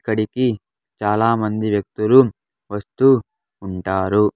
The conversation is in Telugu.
ఇక్కడికి చాలా మంది వ్యక్తులు వస్తూ ఉంటారు.